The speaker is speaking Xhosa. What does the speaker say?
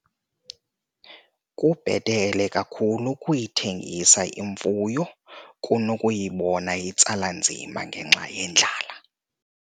Kubhetele kakhulu ukuyithengisa imfuyo kunokuyibona itsala nzima ngenxa yendlala.